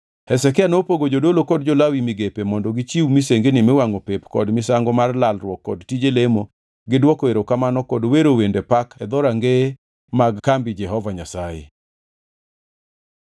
Hezekia nopogo jodolo kod jo-Lawi migepe mondo gichiw misengini miwangʼo pep kod misango mar lalruok kod tije lemo gi dwoko erokamano kod wero wende pak e dhorangeye mag kambi Jehova Nyasaye.